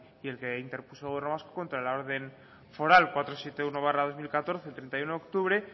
y el que interpuso el gobierno vasco contra la orden foral cuatrocientos setenta y uno barra dos mil catorce de treinta y uno de octubre